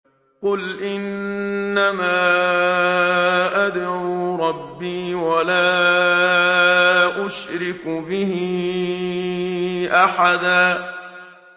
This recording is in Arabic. قُلْ إِنَّمَا أَدْعُو رَبِّي وَلَا أُشْرِكُ بِهِ أَحَدًا